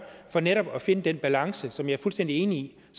for netop at finde den balance som jeg er fuldstændig enig